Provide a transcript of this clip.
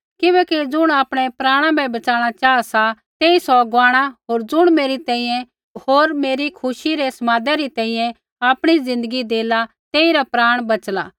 किबैकि ज़ुण आपणै प्राणा बै बच़ाणा चाहा सा तेई सौ गवाणी होर ज़ुण मेरी तैंईंयैं होर मेरै खुशी रै समादै री तैंईंयैं आपणी ज़िन्दगी देला तेइरा प्राण बच़ाला